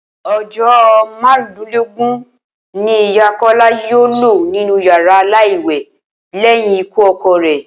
O̩jó̩ márùndínlógún ni Ìyá Kó̩lá yóò lò nínú yàrá láì wè̩ lé̩yìn ikú o̩ko̩ rè̩